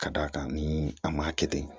Ka d'a kan ni a ma kɛ ten